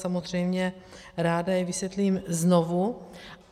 Samozřejmě ráda je vysvětlím znovu.